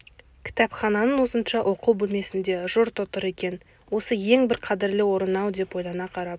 кітапхананың ұзынша оқу бөлмесінде жұрт отыр екен осы ең бір қадірлі орын-ау деп ойлана қарап